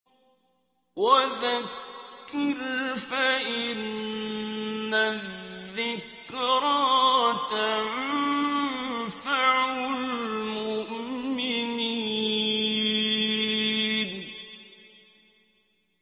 وَذَكِّرْ فَإِنَّ الذِّكْرَىٰ تَنفَعُ الْمُؤْمِنِينَ